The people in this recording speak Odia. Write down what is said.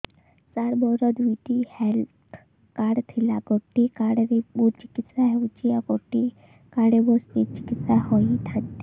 ସାର ମୋର ଦୁଇଟି ହେଲ୍ଥ କାର୍ଡ ଥିଲା ଗୋଟେ କାର୍ଡ ରେ ମୁଁ ଚିକିତ୍ସା ହେଉଛି ଆଉ ଗୋଟେ କାର୍ଡ ରେ ମୋ ସ୍ତ୍ରୀ ଚିକିତ୍ସା ହୋଇଥାନ୍ତେ